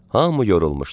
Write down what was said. Hamı yorulmuşdu.